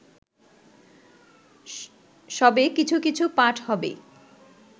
সবে কিছু কিছু পাঠ হবে